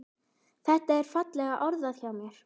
Þetta er fallega orðað hjá mér.